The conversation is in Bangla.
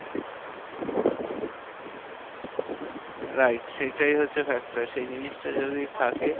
Wright সেটা হচ্ছে factor. সেই জিনিসটা যদি থাকে,